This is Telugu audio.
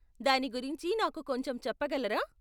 దాని గురించి నాకు కొంచెం చెప్పగలరా?